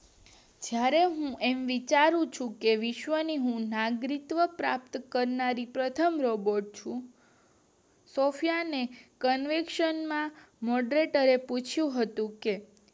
જયારે હું વિચારું ચુ કે વિશ્વ્ નું હું નાગરિકત્વ પ્રાપ્ત કરનારી પ્રથમ રોબોટ છું સૉફયા ને કન્વેશન માં પૂછ્યું હતું કે